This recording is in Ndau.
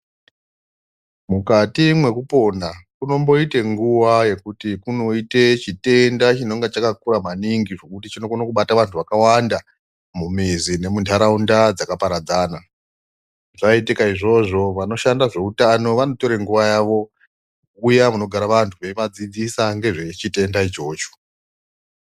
Mukati mwekupona kunomboite nguwa yekuti kunoite chitenda chinonga chakakura maningi, zvekuti chinokone kubata vantu vakawanda mumizi nemuntaraunda dzakaparadzana. Zvaitika izvozvo vanoshanda zveutano vanotore nguwa yavo kuuya kunogara vantu, veivadzidzisa ngezvechitenda ichocho.